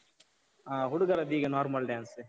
ಹ, ಹುಡುಗರದ್ದೀಗೆ normal dance .